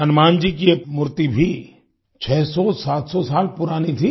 हनुमान जी की ये मूर्ति भी 600700 साल पुरानी थी